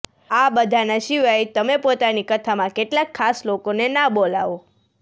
આ બધાના સિવાય તમે પોતાની કથા માં કેટલાક ખાસ લોકો ને ના બોલાવો